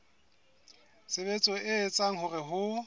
tshebetso e etsang hore ho